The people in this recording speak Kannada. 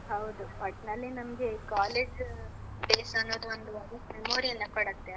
ಹೌದು. ಒಟ್ನಲ್ಲಿ ನಮ್ಗೆ college days ಅನ್ನುದು ಒಂದು ಒಳ್ಳೇ memory ಯೆಲ್ಲ ಕೊಡತ್ತೆ, ಅಲ್ಲ?